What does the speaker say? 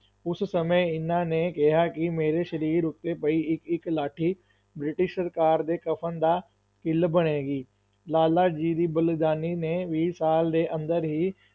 ਉਸ ਸਮੇਂ ਇਹਨਾਂ ਨੇ ਕਿਹਾ ਕਿ ਮੇਰੇ ਸਰੀਰ ਉੱਤੇ ਪਈ ਇੱਕ-ਇੱਕ ਲਾਠੀ ਬ੍ਰਿਟਿਸ਼ ਸਰਕਾਰ ਦੇ ਕਫ਼ਨ ਦਾ ਕਿੱਲ ਬਣੇਗੀ, ਲਾਲਾਜੀ ਦੀ ਬਲੀਦਾਨੀ ਨੇ ਵੀਹ ਸਾਲ ਦੇ ਅੰਦਰ ਹੀ,